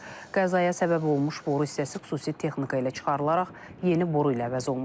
Qəzaya səbəb olmuş boru hissəsi xüsusi texnika ilə çıxarılaraq yeni boru ilə əvəz olunub.